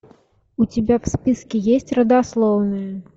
у тебя в списке есть родословная